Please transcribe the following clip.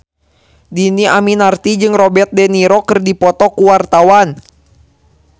Dhini Aminarti jeung Robert de Niro keur dipoto ku wartawan